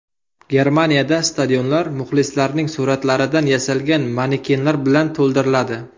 Germaniyada stadionlar muxlislarning suratlaridan yasalgan manekenlar bilan to‘ldiriladi.